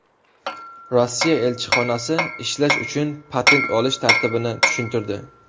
Rossiya elchixonasi ishlash uchun patent olish tartibini tushuntirdi.